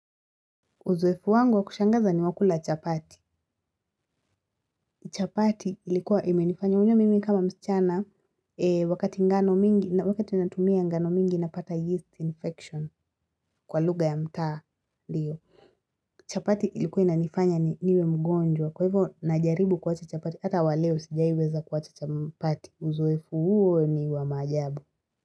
Uzoefu wangu wa kushangaza ni wa kula chapati, chapati ilikuwa imenifanya unajua mimi kama msichana na wakati natumia ngano mingi napata yeast infection kwa lugha ya mtaa ndiyo chapati ilikuwa inanifanya ni niwe mgonjwa kwa hivyo najaribu kuwacha chapati hata wa leo sijaiweza kuwacha chapati uzoefu huo ni wa maajabu.